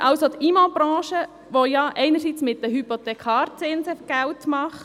Wir subventionieren die Immobilienbranche quer, welche einerseits mit den Hypothekarzinsen Geld macht.